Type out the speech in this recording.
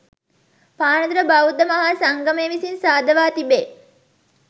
පානදුර බෞද්ධ මහා සංගමය විසින් සාදවා තිබේ.